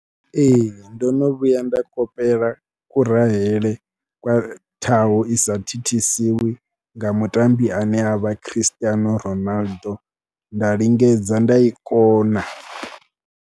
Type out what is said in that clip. Ee ndo no vhuya nda kopela kurahele kwa ṱhaho ku sa thithisiwa nga mutambi ane a vha Christiano Ronaldo nda lingedza nda i kona.